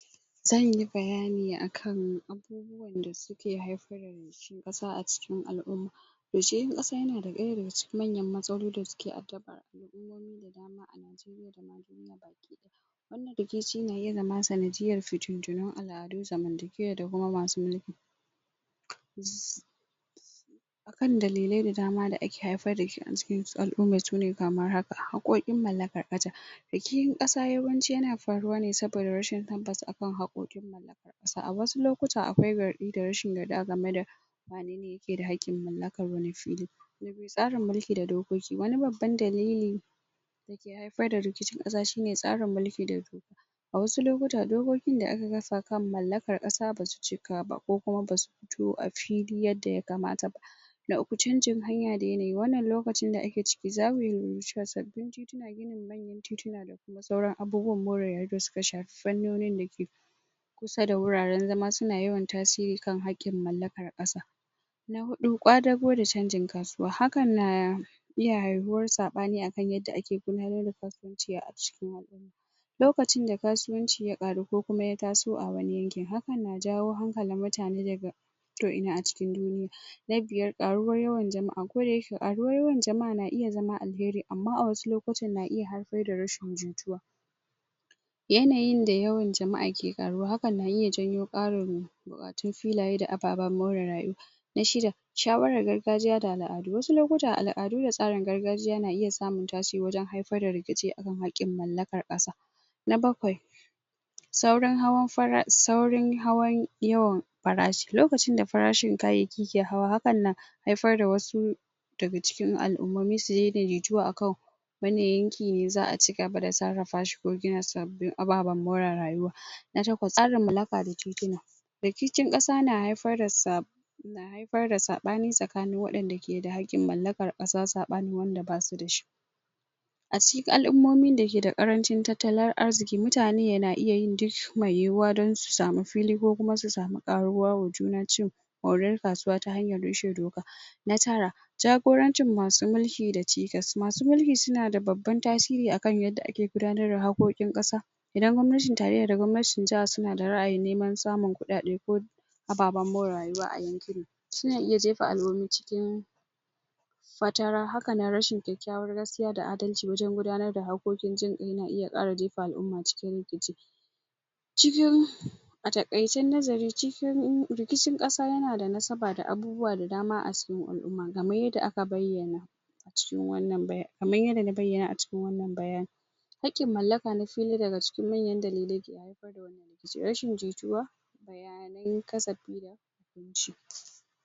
zanyi bayani akan abubuwan da suke haifar da rikicin ƙasa a cikin al'umma rikicin ƙasa yana ɗaya daga cikin manyan matsaloli da suke addabar al'umomi da dama a Najeriya da ma ƙasa baki ɗaya wannan rikici na iya zama sanadiyyar fitintinun al'adu zamantakewa da kuma masu mulki? akan dalilai da dama da ake haifar da rikici a cikin al'uman shine kamar haka haƙƙoƙin mallakar ƙasa rikicin ƙasa yawanci yana faruwa ne saboda rashin tabbas akan haƙƙoƙin mallakar ƙasa a wasu lokuta akwai zargi da rashin yadda game da wanene yake da haƙƙin mallakar wani fili na biyu tsarin da dokoki wani babban dalili dake haifar da rikicin ƙasa shine tsarin mulki da doka a wasu lokuta dokokin da aka kasa kan mallakar ƙasa basu cika ba ko kuma basu fito a fili yadda yakamata ba na uku chanjin hanya da yanayi wannan lokacin da ake ciki zamu lura cewa sabbin tituna ginin manyan tituna da sauran abubuwan more rayuwa da suka shafi fannonin dake sai da wuraren zama suna yawan tasiri kan haƙƙin mallakar ƙasa na huɗu ƙwadago da chanjin kasuwa hakan na na iya haihuwar saɓani akan yadda ake gudanar da kasuwanci a cikin haka lokacin da kasuwanci ya ƙaru ko kuma ya taso a wani yankin hakan na jawo hankalin mutane daga koina a cikin duniya na biyar ƙaruwar yawan jama'a kodayake ƙaruwar yawan jama'a na iya zama alheri amma a wasu lokutan na iya haifar da rashin jituwa yanayin da yawan jama'a ke ƙaruwa hakan na iya janyo ƙarin wato filaye da ababan more rayuwa na shida shawarar gargajiya da al'adu wasu lokuta al'adu da tsarin gargajiya na iya samun tasiri wajen haifar da rikici kan haƙƙin mallakar ƙasa na bakwai saurin hawan fara sauran hawan yawan farashi lokacin da farashin kayayyaki ke hawa hakan na haifar da wasu daga cikin al'umomi su daidaitu akan wani yanki ne za'a cigaba da sarrafa shi ko gina sabbin ababen more rayuwa na takwas ƙarin mallaka da titina rikicin ƙasa na haifar da haifar da saɓani tsakanin waɗanda ke da haƙƙin mallakar ƙasa saɓanin wanda basu dashi a cikin al'umomin dake da ƙarancin tattalin arziki mutane ya na iya yin duk mai yiwuwa don su sami fili ko kuma su samu ƙaruwa wa juna cin moriyar kasuwa ta hanyar rushe doka na tara jagorancin masu mulki da cikas masu mulki suna da babban tasiri akan yanda ake gudanar da haƙƙin ƙasa idan gwamnatin tarayya da gwamnatin jaha suna da ra'ayin neman samun kuɗaɗe ko ababen more rayuwa a yankin suna iya jefa al'umomi cikin fatara hakanan rashin kyakkyawar gaskiya da adalci wajen gudanar da haƙƙoƙin jin ƙai na iya jefa al'uma cikin rikici cikin a taƙaice nazari cikin rikicin ƙasa yana da nasaba da abu abubuwa da dama a cikin al'uma kaman yanda aka bayyana cikin wannan kaman yanda na bayyana a cikin wannan bayanin haƙƙin mallaka na fili na daga cikin manyan dalilai na haifar da wani rikici rashin jituwa bayanan kasafi da hukunci